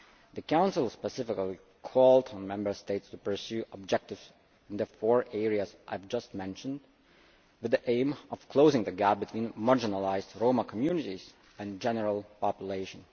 The Council specifically called on the Member States to pursue objectives in the four areas I have just mentioned, with the aim of closing the gap between marginalised Roma communities and the general population.